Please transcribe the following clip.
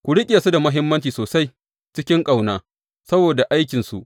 Ku riƙe su da mutunci sosai cikin ƙauna saboda aikinsu.